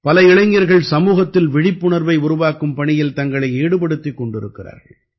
பல இளைஞர்கள் சமூகத்தில் விழிப்புணர்வை உருவாக்கும் பணியில் தங்களை ஈடுபடுத்திக் கொண்டிருக்கிறார்கள்